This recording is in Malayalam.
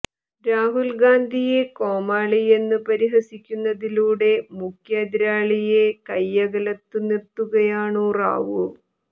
രാഹുൽ ഗാന്ധിയെ കോമാളിയെന്നു പരിഹസിക്കുന്നതിലൂടെ മുഖ്യ എതിരാളിയെ കയ്യകലത്തു നിർത്തുകയാണു റാവു